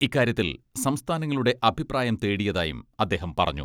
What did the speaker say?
ഇക്കാര്യത്തിൽ സംസ്ഥാനങ്ങളുടെ അഭിപ്രായം തേടിയതായും അദ്ദേഹം പറഞ്ഞു.